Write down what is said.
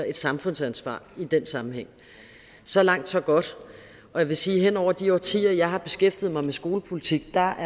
et samfundsansvar i den sammenhæng så langt så godt jeg vil sige at hen over de årtier jeg har beskæftiget mig med skolepolitik er